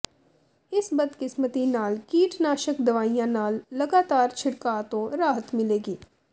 ਇਸ ਬਦਕਿਸਮਤੀ ਨਾਲ ਕੀਟਨਾਸ਼ਕ ਦਵਾਈਆਂ ਨਾਲ ਲਗਾਤਾਰ ਛਿੜਕਾਅ ਤੋਂ ਰਾਹਤ ਮਿਲੇਗੀ